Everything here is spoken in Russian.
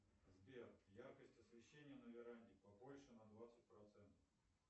сбер яркость освещения на веранде побольше на двадцать процентов